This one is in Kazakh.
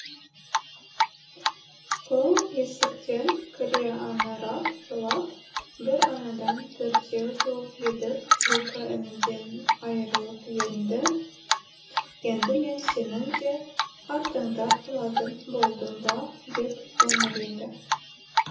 ол есіктен кіре аңырап жылап бір анадан төртеу туып едік екі ініден айырылып едім енді мен сенің де артыңда қалатын болдым ба деп еңіреді